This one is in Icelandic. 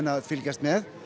að fylgjast með